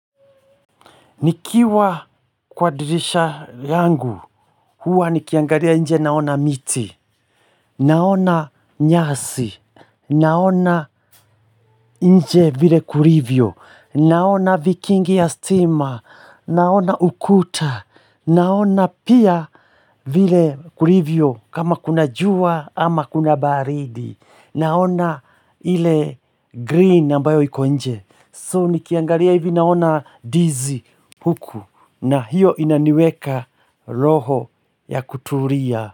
Nikiwa kwa dirisha yangu, huwa nikiangalia nje naona miti, naona nyasi, naona nje vile kulivyo, naona vikingi ya stima, naona ukuta, naona pia vile kulivyo kama kuna jua ama kuna baridi, naona ile green ambayo iko nje. So nikiangalia hivi naona ndizi huku na hiyo inaniweka roho ya kutulia.